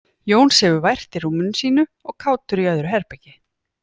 Jón sefur vært í rúminu sínu og Kátur í öðru herbergi.